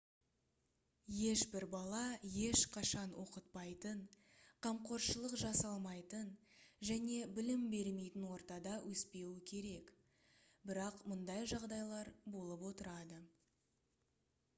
ешбір бала ешқашан оқытпайтын қамқоршылық жасалмайтын және білім бермейтін ортада өспеуі керек бірақ мұндай жағдайлар болып отырады